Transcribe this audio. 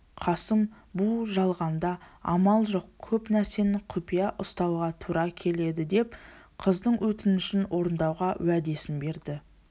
қасым бұ жалғанда амал жоқ көп нәрсені құпия ұстауға тура келедідеп қыздың өтінішін орындауға уәдесін берді